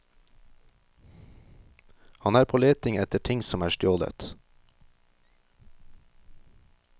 Han er på leting etter ting som er stjålet.